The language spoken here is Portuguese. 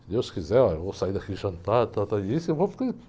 Se Deus quiser, eu vou sair daqui e jantar, tal, tal e isso eu vou porque